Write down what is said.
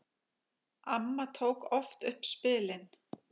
Amma tók oft upp spilin.